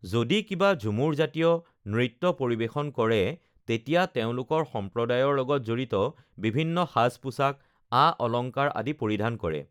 যদি কিবা ঝুমুৰজাতীয় নৃত্য পৰিৱেশন কৰে তেতিয়া তেওঁলোকৰ সম্প্ৰদায়ৰ লগত জড়িত বিভিন্ন সাজ-পোছাক আ-অলংকাৰ আদি পৰিধান কৰে